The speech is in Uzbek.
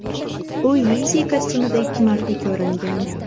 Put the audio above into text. U Yeezy kostyumida ikki marta ko‘ringan.